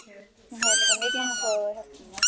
Hann hafði líka mikinn áhuga á að hjálpa mér.